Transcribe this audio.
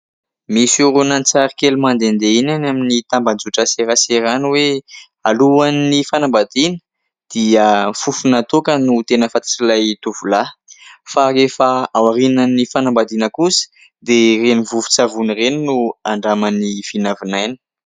Misy horonantsary kely mandehandeha iny any amin'ny tambajotran-tserasera any hoe alohan'ny fanambadiana no tena fantatr'ilay tovolahy. Fa rehefa ao aorianan'ny fanambadiana kosa dia ireny vovon-tsavony ireny no andramany vinavinaina.